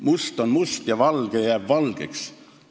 Must on must ja valge jääb valgeks.